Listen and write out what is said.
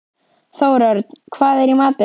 Þórörn, hvað er í matinn?